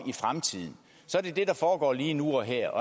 i det der foregår lige nu og her